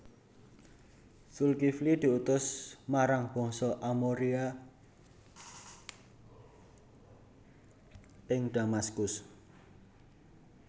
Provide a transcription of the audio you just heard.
Zulkifli diutus marang Bangsa Amoria ing Damaskus